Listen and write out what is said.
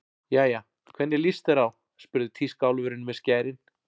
Jæja, hvernig líst þér á spurði tískuálfurinn með skærin.